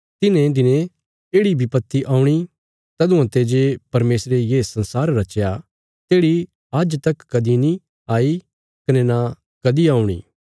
तिन्हें दिनें येढ़ि बिपत्ति औणी तऊँआं ते जे परमेशरे ये संसार रचया तेढ़ी आज्ज तक कदीं नीं आई कने न कदीं औणी